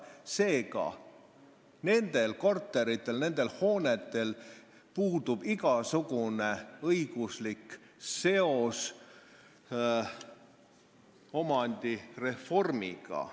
Seega, nendel korteritel ja nendel hoonetel puudub igasugune õiguslik seos omandireformiga.